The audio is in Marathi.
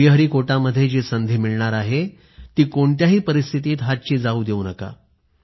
श्रीहरिकोटामध्ये जी संधी मिळणार आहे ती कोणत्याही परिस्थितीत हातची जाऊ देऊ नका